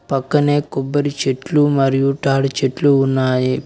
పక్కనే కొబ్బరి చెట్లు మరియు తాడి చెట్లు ఉన్నాయి.